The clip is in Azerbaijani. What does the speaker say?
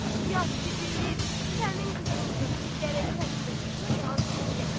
Yad ki, deyil sənin qızındır, gərək sənin də qızına yazığın gəlsin.